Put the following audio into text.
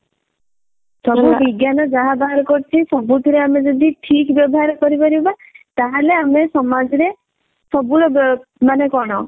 ସବୁ ବିଜ୍ଞାନ ଯାହା ବାହାର କରୁଛି ସବୁଥିରେ ଆମେ ଯଦି ଠିକ ବ୍ୟବହାର କରିପାରିବା ତାହେଲେ ଆମେ ସମାଜ ରେ ସବୁ ର ବ ମାନେ କଣ